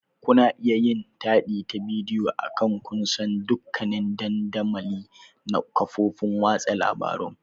Kuna iya yin taɗi ta bidiyo akan kusan dukkanin dandamali na kafofin watsa labarun.